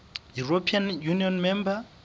european union member